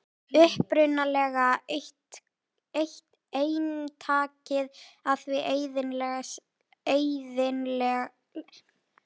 Upprunalega eintakið af því eyðilagðist í seinni heimsstyrjöldinni.